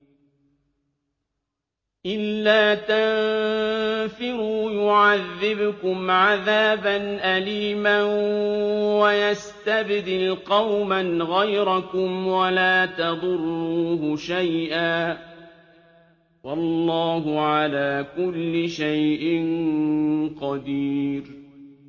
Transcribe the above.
إِلَّا تَنفِرُوا يُعَذِّبْكُمْ عَذَابًا أَلِيمًا وَيَسْتَبْدِلْ قَوْمًا غَيْرَكُمْ وَلَا تَضُرُّوهُ شَيْئًا ۗ وَاللَّهُ عَلَىٰ كُلِّ شَيْءٍ قَدِيرٌ